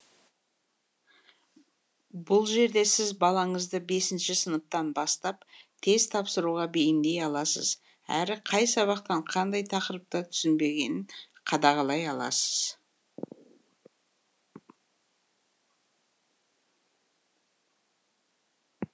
бұл жерде сіз балаңызды бесінші сыныптан бастап тест тапсыруға бейімдей аласыз әрі қай сабақтан қандай тақырыпты түсінбегенін қадағалай аласыз